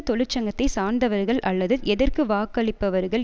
தொழிற்சங்கத்தை சார்ந்தவர்கள் அல்லது எதற்கு வாக்களிப்பவர்கள்